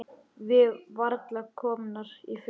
Við varla komnar í fötin.